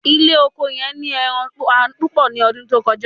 ile oko yen ni eran pain pupo ni odun ti o koja